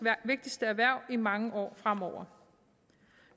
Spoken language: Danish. vigtigste erhverv i mange år fremover